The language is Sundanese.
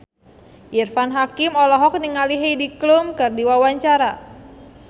Irfan Hakim olohok ningali Heidi Klum keur diwawancara